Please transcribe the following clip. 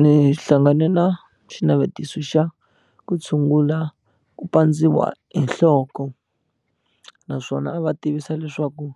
Ni hlangane na xinavetiso xa ku tshungula ku pandziwa hi nhloko naswona a va tivisa leswaku